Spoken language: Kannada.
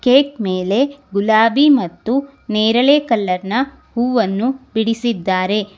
ಕೇಕ್ ಮೇಲೆ ಗುಲಾಬಿ ಮತ್ತು ನೇರಳೆ ಕಲರ್ನ ಹೂವನ್ನು ಬಿಡಿಸಿದ್ದಾರೆ.